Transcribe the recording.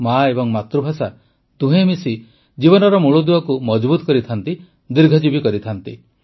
ମା ଏବଂ ମାତୃଭାଷା ଦୁହେଁ ମିଶି ଜୀବନର ମୂଳଦୁଆକୁ ମଜଭୁତ୍ କରିଥାନ୍ତି ଦୀର୍ଘଜୀବୀ କରିଥାନ୍ତି